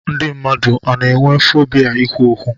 Ndị mmadụ o nwere fobia ikwu okwu?